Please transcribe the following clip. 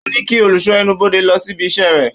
Ó ní kí olùṣọ́ ẹnubodè lọ síbi iṣẹ́ rẹ̀